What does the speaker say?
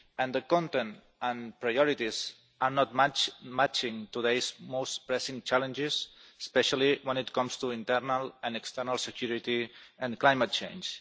The content and priorities do not match today's most pressing challenges, especially when it comes to internal and external security and climate change.